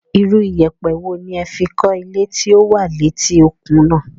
Irú iyẹ̀pẹ̀ wo ni ẹ fi kọ́ ilé tí ó wà léti òkun náà?